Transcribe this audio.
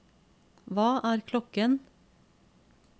hva er klokken